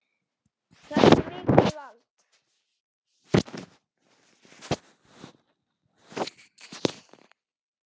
Það sé mikið vald.